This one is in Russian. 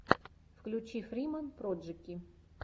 включи фриман проджэки